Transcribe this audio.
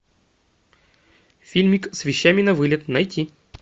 фильмик с вещами на вылет найти